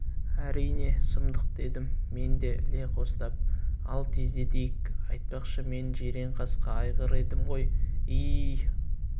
әрине сұмдық дедім мен де іле қостап ал тездетейік айтпақшы мен жиренқасқа айғыр едім ғой и-и